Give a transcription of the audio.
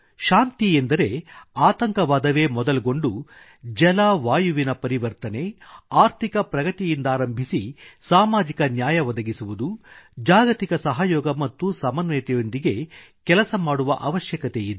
ಶಾಂತಿ ಎಂದರೆ ಆತಂಕವಾದವೇ ಮೊದಲ್ಗೊಂಡು ಜಲವಾಯುವಿನ ಪರಿವರ್ತನೆ ಆರ್ಥಿಕ ಪ್ರಗತಿಯಿಂದಾರಂಭಿಸಿ ಸಾಮಾಜಿಕ ನ್ಯಾಯ ಒದಗಿಸುವುದು ಜಾಗತಿಕ ಸಹಯೋಗ ಮತ್ತು ಸಮನ್ವಯತೆಯೊಂದಿಗೆ ಕೆಲಸ ಮಾಡುವ ಅವಶ್ಯಕತೆಯಿದೆ